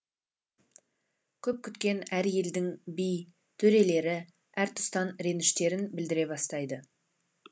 көп күткен әр елдің би төрелері әртұстан реніштерін білдіре бастайды